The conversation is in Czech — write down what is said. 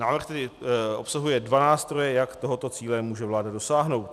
Návrh tedy obsahuje dva nástroje, jak tohoto cíle může vláda dosáhnout.